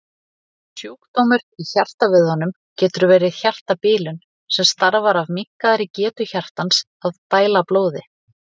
Sjúkdómur í hjartavöðvanum getur verið hjartabilun sem stafar af minnkaðri getu hjartans að dæla blóði.